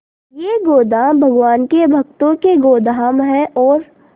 ये गोदाम भगवान के भक्तों के गोदाम है और